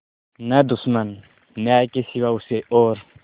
न दुश्मन न्याय के सिवा उसे और